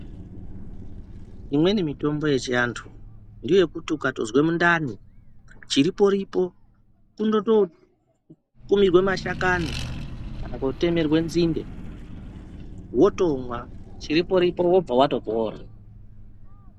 Imweni mitombo yechiantu ngeyekuti ukatozwe mundani chiripo-ripo kundototumirwe mashakani. Kana kutemerwe nzinde votomwa chiripo-ripo vobva vatopora.